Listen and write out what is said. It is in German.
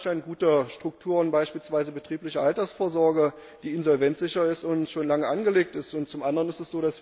Wir haben in Deutschland gute Strukturen, beispielsweise eine betriebliche Altersvorsoge, die insolvenzsicher ist und schon lange angelegt ist.